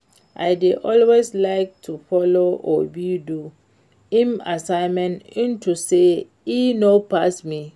I dey always like to follow Obi do im assignment unto say e know pass me